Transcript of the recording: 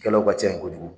Kɛlaw ka ca kojugu